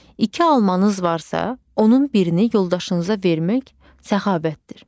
İki almanız varsa, onun birini yoldaşınıza vermək səxavətdir.